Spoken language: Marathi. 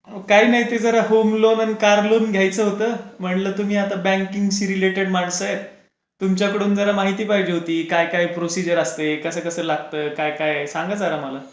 काही नाही ते होम लोन घ्यायचं होतं म्हणलं तुम्ही आता बँकिंग सी रिलेटेड माणसं आहे. तुमच्याकडून जर माहिती पाहिजे होती काय काय प्रोसिजर असते कसं कसं लागतं काय काय सांगा जरा मला.